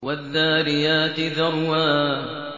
وَالذَّارِيَاتِ ذَرْوًا